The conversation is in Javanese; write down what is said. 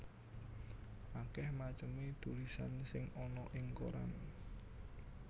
Akèh macemé tulisan sing ana ing koran